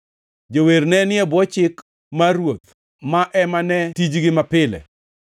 Jower nenie bwo chik mar ruoth, ma ema ne tijgi mapile.